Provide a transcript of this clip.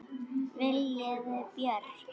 Viljiði Björk?